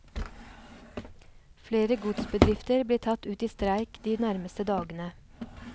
Flere godsbedrifter blir tatt ut i streik de nærmeste dagene.